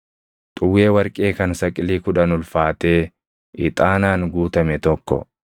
xuwwee warqee kan saqilii kudhan ulfaatee ixaanaan guutame tokko,